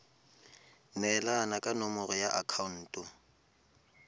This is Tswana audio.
neelana ka nomoro ya akhaonto